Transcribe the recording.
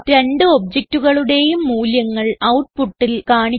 രണ്ട് objectകളുടേയും മൂല്യങ്ങൾ ഔട്ട്പുട്ടിൽ കാണിക്കുക